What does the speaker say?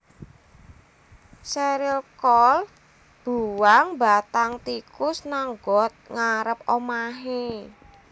Cheryl Cole mbuwang bathang tikus nang got ngarep omahe